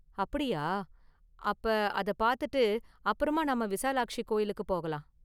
அப்படியா, அப்ப அத பார்த்துட்டு அப்பறமா நாம விசாலாக்ஷி கோயிலுக்கு போகலாம்.